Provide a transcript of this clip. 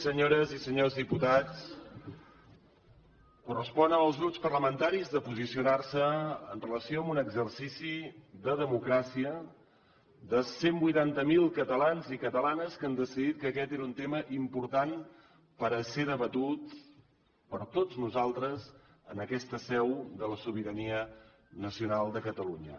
senyores i senyors diputats correspon als grups parlamentaris de posicionar se amb relació a un exercici de democràcia de cent i vuitanta miler ca talans i catalanes que han decidit que aquest era un tema important perquè fos debatut per tots nosaltres en aquesta seu de la sobirania nacional de catalunya